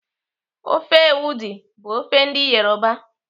Ofe ewedu bụ ofe ndị Yoruba.